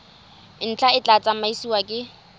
ntlha e tla tsamaisiwa ke